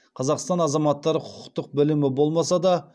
қазақстан азаматтары құқықтық білімі болмаса да